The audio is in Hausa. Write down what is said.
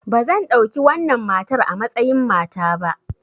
Ba zan ɗauki wannan matar a matsayin mata ba!